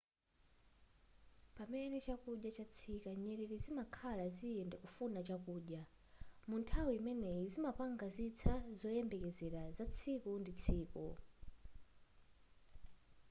pamene chakudya chatsika nyerere zimanka ziyenda kufuna chakudya munthawi imeneyi zimapanga zitsa zoyembekezera za tsiku ndi tsiku